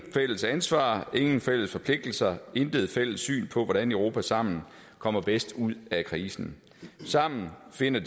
fælles ansvar ingen fælles forpligtelser intet fælles syn på hvordan europa samlet kommer bedst ud af krisen samlet finder